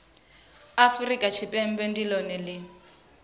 afurika tshipembe ndi lone li